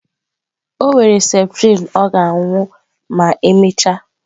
O were septrin ọ ga-aṅụ ma emechaa.